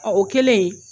Ɔ o kɛlen